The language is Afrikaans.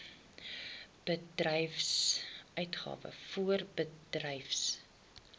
voorbedryfsuitgawes ingevolge artikel